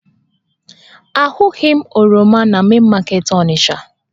Ahụghị m oroma na Main market Onisha